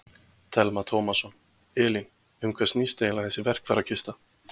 Telma Tómasson: Elín, um hvað snýst eiginlega þessi verkfærakista?